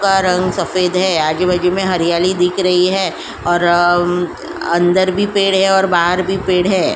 का रंग का सफेद है। आजु बाजू मे हरियाली दिख रही है और अ अ म अंदर भी पेड़ है और बाहर भी पेड़ है।